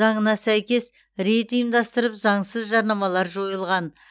заңына сәйкес рейд ұйымдастырылып заңсыз жарнамалар жойылған